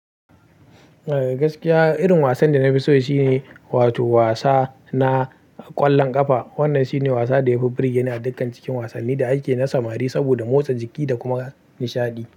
Eh gaskiya irin wasan da na fi so shine wato wasa na ƙwallon ƙafa. Wannan shine wasa da ya fi burge ni a dukkan cikin wasanni da ake na samari saboda motsa jiki da kuma nishaɗi.